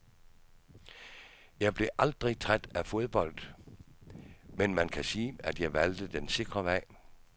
Jeg blev aldrig træt af fodbold, men man kan sige, at jeg valgte den sikre vej.